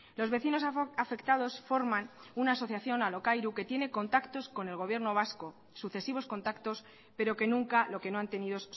los vecinos afectados forman una asociación alokairu que tiene contactos con el gobierno vasco sucesivos contactos pero que nunca lo que no han tenido